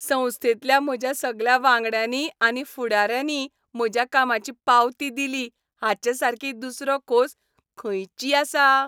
संस्थेंतल्या म्हज्या सगल्या वांगड्यांनी आनी फुडाऱ्यांनीय म्हज्या कामाची पावती दिली हाचेसारकी दुसरो खोस खंयची आसा?